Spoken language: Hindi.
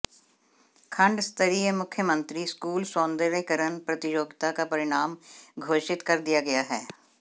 खंड स्तरीय मुख्यमंत्री स्कूल सौंदर्यकरण प्रतियोगिता का परिणाम घोषित कर दिया गया है